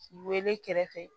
K'i wele kɛrɛfɛ